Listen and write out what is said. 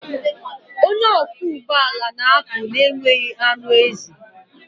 Onye ọkwọ ụgbọ ala na-apụ na-enweghị anụ ezi.